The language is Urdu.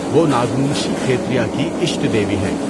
وہ ناگونشی کھیتریا کی اشٹ دیوی ہیں۔